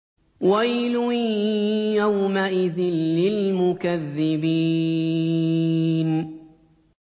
وَيْلٌ يَوْمَئِذٍ لِّلْمُكَذِّبِينَ